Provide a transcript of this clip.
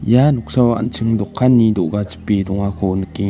ia noksao an·ching dokanni do·ga chipe dongako nikenga.